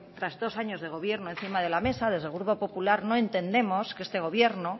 tras dos años de gobierno encima de la mesa desde el grupo popular no entendemos que este gobierno